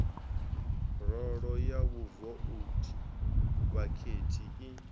rolo ya vhavouti vhakhethi i